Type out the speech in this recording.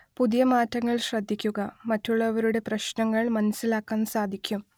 പുതിയ മാറ്റങ്ങള്‍ ശ്രദ്ധിക്കുക മറ്റുള്ളവരുടെ പ്രശ്നങ്ങൾ മനസിലാക്കാന്‍ സാധിക്കും